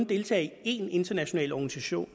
deltage i én international organisation